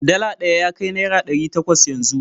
Dala ɗaya ya kai naira ɗari takwas yanzu.